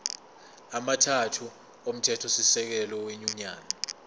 amathathu omthethosisekelo wenyunyane